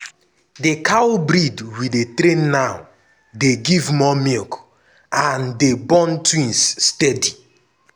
di cow breed we dey train now dey give more milk and dey born twins steady.